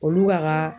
Olu ka